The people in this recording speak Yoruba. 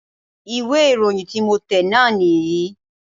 ìwé ìròyìn tí mo tẹ̀ náà nì yí